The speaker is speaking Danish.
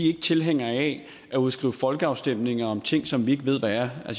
ikke tilhængere af at udskrive folkeafstemninger om ting som vi ikke ved hvad er